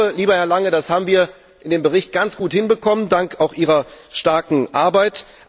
Lieber Herr Lange, das haben wir in dem Bericht ganz gut hinbekommen, auch dank Ihrer starken Arbeit!